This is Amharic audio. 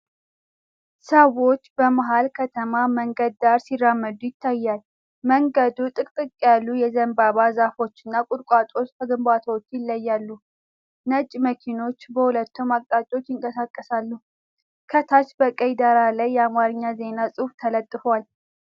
ሰዎች በመሀል ከተማ መንገድ ዳር ሲራመዱ ይታያል። መንገዱን ጥቅጥቅ ያሉ የዘንባባ ዛፎችና ቁጥቋጦዎች ከግንባታዎቹ ይለያሉ፤ ነጭ መኪናዎች በሁለቱም አቅጣጫዎች ይንቀሳቀሳሉ። ከታች በቀይ ዳራ ላይ የአማርኛ ዜና ጽሑፍ ተለጥፏል።